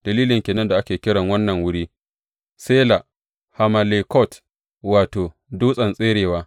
Dalilin ke nan da ake kiran wannan wuri Sela Hammalekot, wato, dutsen tserewa.